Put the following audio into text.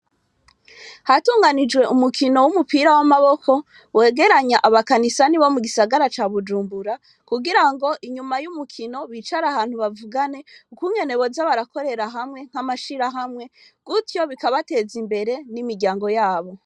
Hatunganijwe umukino w'umupira w'amaboko, wegeranya abakanisani bo mugisagara ca Bujumbura, kugira ngo inyuma y'umukino bicarane, bavugane ukuntu boza barakorera hamwe nk'amashirahamwe, gutyo bikabateza imbere n'imiryango yabo.